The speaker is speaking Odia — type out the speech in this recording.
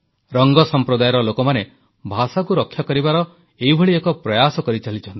ରଙ୍ଗ ସମ୍ପ୍ରଦାୟର ଲୋକମାନେ ଭାଷାକୁ ରକ୍ଷା କରିବାର ଏଇଭଳି ଏକ ପ୍ରୟାସ କରିଚାଲିଛନ୍ତି